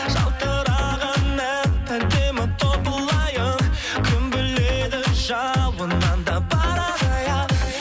жалтыраған әп әдемі топылайын кім біледі жауыннан да барады аяп